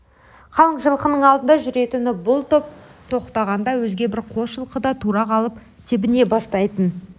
қалың жылқының алдында жүретін бұл топ тоқтағанда өзге бір қос жылқы да тура қалып тебіне бастайтын